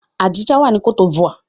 Abidjan wà ní cote d'Ivoire.